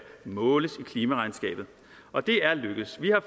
måles i klimaregnskabet og det er lykkedes vi har